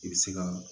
I bɛ se ka